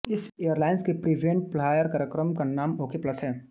इस एयरलाइन्स के frequent flyer कार्यक्रम का नाम ओके प्लस है